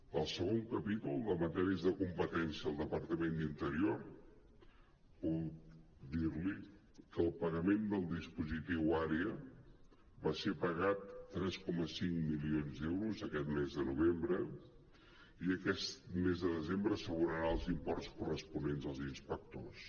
del segon capítol de matèries de competència al departament d’interior puc dir·li que el pagament del dispositiu àrea va ser pagat tres coma cinc milions d’euros aquest mes de novembre i aquest mes de desembre s’abonaran els imports corresponents als inspectors